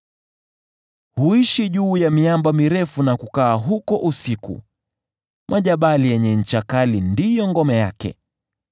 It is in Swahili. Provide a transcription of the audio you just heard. Huishi juu ya miamba mirefu na kukaa huko usiku; majabali yenye ncha kali ndiyo ngome yake.